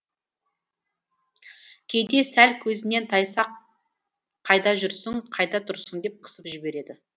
кейде сәл көзінен тайса ақ қайда жүрсің қайда тұрсың деп қысып жібереді